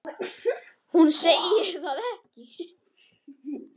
En hún segir það ekki.